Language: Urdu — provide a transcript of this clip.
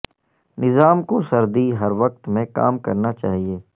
نظام کو سردی ہر وقت میں کام کرنا چاہئے